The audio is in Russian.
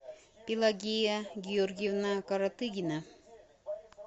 пелагея георгиевна коротыгина